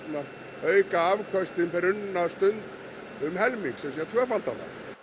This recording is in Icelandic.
auka afköst per unna stund um helming það er tvöfalda hana